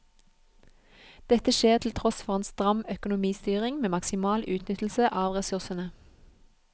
Dette skjer til tross for en stram økonomistyring med maksimal utnyttelse av ressursene.